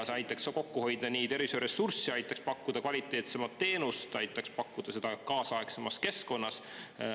See aitaks kokku hoida tervishoiuressurssi, pakkuda kvaliteetsemat teenust ja seda kaasaegsemas keskkonnas.